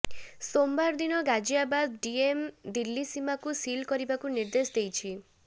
ସୋମବାର ଦିନ ଗାଜିଆବାଦ ଡିଏମ୍ ଦିଲ୍ଲୀ ସୀମାକୁ ସିଲ୍ କରିବାକୁ ନିର୍ଦ୍ଦେଶ ଦେଇଛି